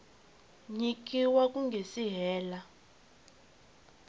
nyikiwa ku nga si hela